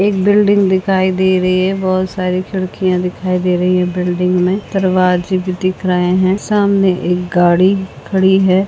एक बिल्डिंग दिखाई दे रही है बहुत सारी खिड़कियां दिखाई दे रही हैं बिल्डिंग में दरवाजे भी दिख रहे है सामने एक गाड़ी खड़ी है।